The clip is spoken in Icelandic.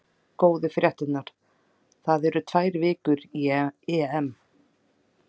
Góðu fréttirnar: það eru tvær vikur í EM.